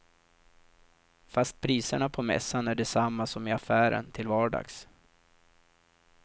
Fast priserna på mässan är desamma som i affären till vardags.